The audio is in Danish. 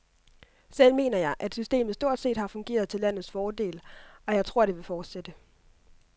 Selv mener jeg, at systemet stort set har fungeret til landets fordel, og jeg tror det vil fortsætte.